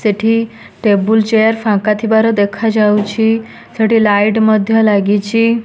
ସେଠି table chair ଫାଙ୍କା ଥିବାର ଦେଖାଯାଉଛି ସେଠି ଲାଇଟ ମଧ୍ୟ୍ୟ ଲାଗିଚି।